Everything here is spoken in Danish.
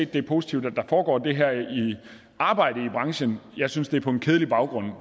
det er positivt at der foregår det her arbejde i branchen jeg synes det er på en kedelig baggrund